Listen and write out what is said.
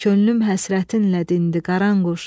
Könlüm həsrətinlə dindi, Qaranquş.